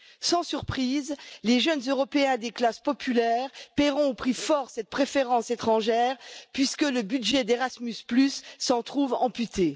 Sans surprise, les jeunes Européens des classes populaires paieront au prix fort cette préférence étrangère, puisque le budget d'Erasmus s'en trouve amputé.